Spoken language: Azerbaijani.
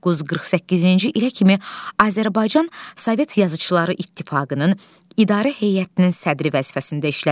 948-ci ilə kimi Azərbaycan Sovet Yazıçıları İttifaqının İdarə Heyətinin sədri vəzifəsində işləmiş.